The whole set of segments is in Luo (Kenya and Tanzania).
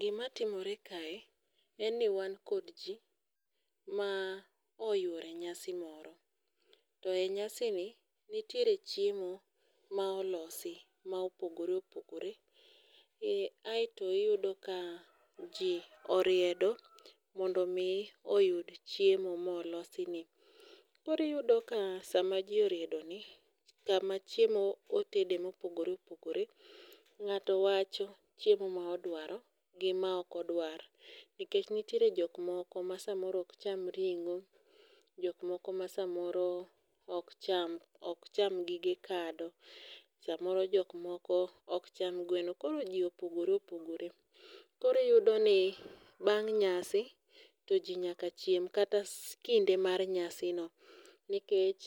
Gimatimore kae en ni wan kod ji ma oyworo e nyasi moro, to e nyasini nitiere chiemo ma olosi ma opogore opogore, aeto iyudo ka ji oriedo mondo omi oyud chiemo molosini. koro iyudo ka sama ji oriedoni, kama chiemo otede mopogore opogore, ng'ato wacho chiemo ma odwaro gi ma ok odwar nikech nitiere jok moko ma samoro ok cham ring'o, jok moko ma samoro ok cham gige kado, samoro jok moko ok cham gweno. koro ji opogore opogore. koro iyudoni bang' nyasi to ji nyaka chienm kata kinde mar nyasino nikech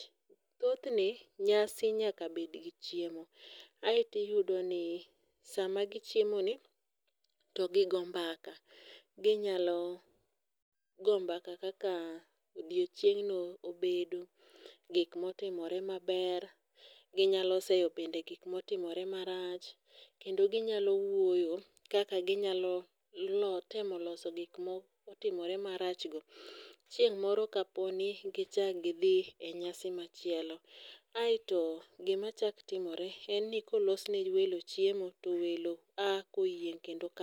thothne, nyasi nyaka bedgi chiemo aeto iyudo ni sama gichiemoi to gigo mbaka, ginyalo go mbaka kaka odiochieng'no obedo, gik motimore maber. Ginyalo seyo bende gik motimore marach kendo ginyalo wuoyo kaka ginyalo temo loso gik motimore marachgo, chieng' moro kaponi gichako gidhi e nyasi machielo, aeto gimachako timore en ni kolos ne welo chiemo to welo a koyieng' kendo ka